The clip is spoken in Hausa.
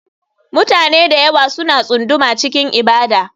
Mutane da yawa suna tsunduma cikin ibada.